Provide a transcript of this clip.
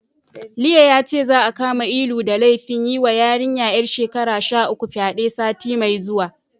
Liye yace, za'a kama Ilu da laifin yiwa yarinya ƴar shekara sha uku fyaɗe, sati mai zuwa.